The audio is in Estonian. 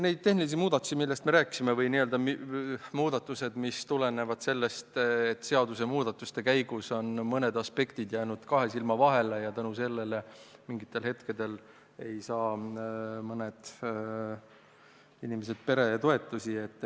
Neid tehnilised muudatused, millest me rääkisime, tulenevad sellest, et seaduste muutmise käigus on mõned aspektid jäänud kahe silma vahele ja sel põhjusel mingitel hetkedel pole mõned inimesed peretoetusi saanud.